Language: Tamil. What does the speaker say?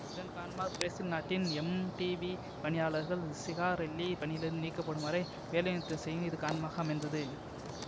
இதன் காரணமாக பிரேசில் நாட்டின் எம்டிவி பணியாளர்கள் சிகாரெல்லி பணியிலிருந்து நீக்கப்படும் வரை வேலைநிறுத்தம் செய்யவும் இது காரணமாக அமைந்தது